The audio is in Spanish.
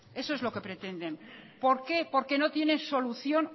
eso es lo que pretenden por qué porque no tienen solución